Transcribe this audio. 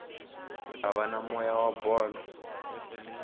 ava na moya wa bolo